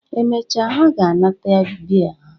Emechaa ha ga-anata bee ha.